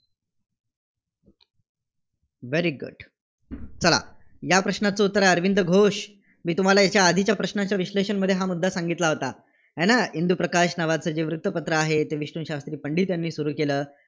Very good चला. या प्रश्नाचं उत्तर आहे, अरविंद घोष. मी तुम्हाला याच्या आधीच्या प्रश्नाच्या विश्लेषणामध्ये हा मुद्दा सांगितला होता. आहे ना? इंदूप्रकाश नावाचं जे वृत्तपत्र आहे, ते विष्णूशास्त्री पंडित यांनी सुरू केलं.